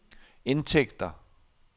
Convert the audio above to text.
indtægter